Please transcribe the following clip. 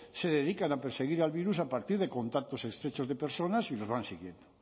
se dedican a perseguir al virus a partir de contactos estrechos de personas y las van siguiendo